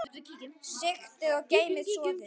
Sigtið og geymið soðið.